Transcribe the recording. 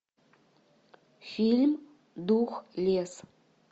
фильм духлесс